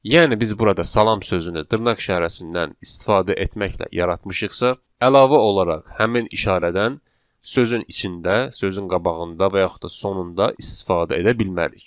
Yəni biz burada salam sözünü dırnaq işarəsindən istifadə etməklə yaratmışıqsa, əlavə olaraq həmin işarədən sözün içində, sözün qabağında və yaxud da sonunda istifadə edə bilmərik.